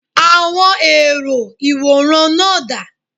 Àwọn èrò ìwòran náà dà?